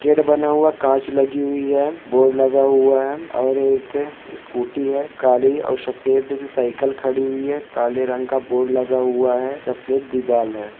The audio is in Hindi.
गेट बना हुआ कांच लगी हुई है बोर्ड लगा हुआ है और एक ए स्कूटी है काली और सफेद साइकेल खड़ी हुइ है काले रंग का बोर्ड लगा हुआ है सफेद दीवाल है।